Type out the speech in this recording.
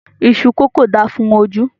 Iṣú kókò da fún ojú